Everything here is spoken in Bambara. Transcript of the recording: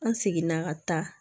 An seginna ka taa